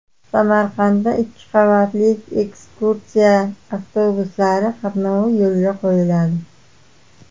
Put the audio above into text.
Samarqandda ikki qavatli ekskursiya avtobuslari qatnovi yo‘lga qo‘yiladi.